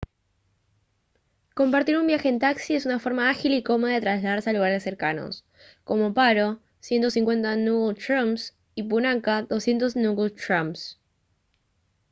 compartir un viaje en taxi es una forma ágil y cómoda de trasladarse a lugares cercanos como paro 150 ngultrums y punakha 200 ngultrums